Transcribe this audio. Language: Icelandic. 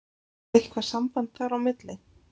Er eitthvað samband þar á milli?